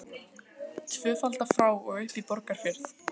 Heimir Már Pétursson: Tvöfalda frá og upp í Borgarfjörð?